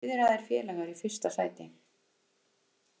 Fiðraðir félagar í fyrsta sæti